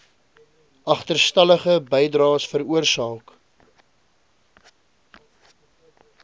agterstallige bydraes veroorsaak